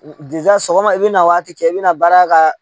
sɔgɔma i bɛna waati kɛ i bɛna baara ka